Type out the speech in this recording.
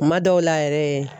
Kuma dɔw la yɛrɛ